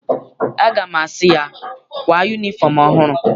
Aga m asị ya, kwaa yunifọm ọhụrụ!